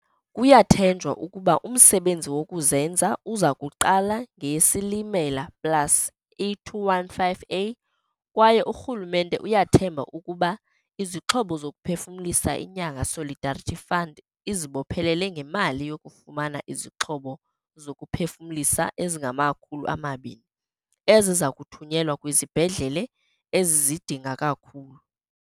Kuyathenjwa ukuba umsebenzi wokuzenza uza kuqala ngeyeSilimelaplusE215a kwaye urhulumente uyathemba ukuba izixhobo zokuphefumlisa inyanga Solidarity Fund izibophelele ngemali yokufumana izixhobo zokuphefumlisa ezingama-200, eziza kuthunyelwa kwizibhedlele ezizidinga kakhulu.